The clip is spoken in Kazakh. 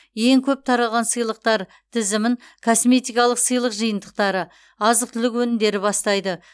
ең көп таралған сыйлықтар тізімін косметикалық сыйлық жиынтықтары азық түлік өнімдері бастайды